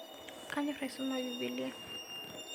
Kanyor aisoma bibilia